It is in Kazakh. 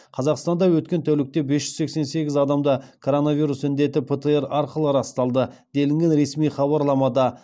қазақстанда өткен тәулікте бес жүз сексен сегіз адамда коронавирус індеті птр арқылы расталды делінген ресми хабарламада